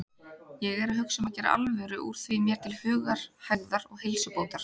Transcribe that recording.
Ég er að hugsa um að gera alvöru úr því mér til hugarhægðar og heilsubótar.